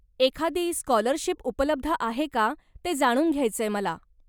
एखादी स्कॉलरशिप उपलब्ध आहे का ते जाणून घ्यायचंय मला.